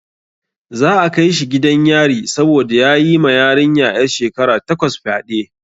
Za a kai shi gidan yari saboda ya yi ma yarinya 'yar shekara takwas fyade.